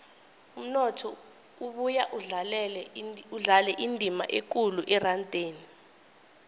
umnotho ubuya udlale indima ekulu erandeni